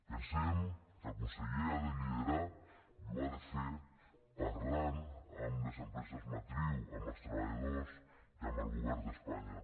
pensem que el conseller ha de liderar i ho ha de fer parlant amb les empreses matriu amb els treballadors i amb el govern d’espanya